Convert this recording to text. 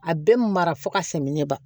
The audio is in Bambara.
A bɛ mara fo ka sɛngɛ ɲɛ